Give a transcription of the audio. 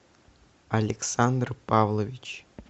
александр павлович